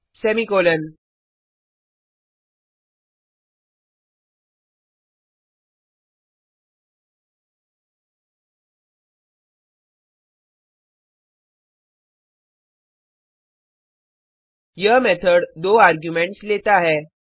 copyOfमार्क्स 5 यह मेथड दो आर्ग्युमेंट्स लेता है